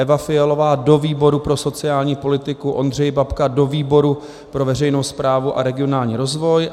Eva Fialová do výboru pro sociální politiku, Ondřej Babka do výboru pro veřejnou správu a regionální rozvoj.